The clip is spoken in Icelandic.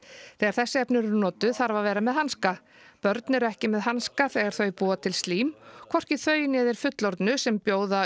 þegar þessi efni eru notuð þarf að vera með hanska börn eru ekki með hanska þegar þau búa til slím hvorki þau né þeir fullorðnu sem bjóða